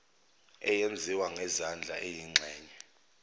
eyenziwa ngezandla eyingxenye